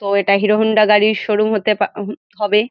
তো এটা Hero Honda গাড়ির শোরুম হতে পা উহু হবে।